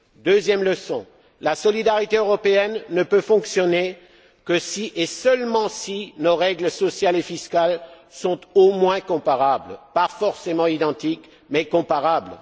Deuxième leçon la solidarité européenne ne peut fonctionner que si et seulement si nos règles sociales et fiscales sont au moins comparables, pas forcément identiques, mais comparables.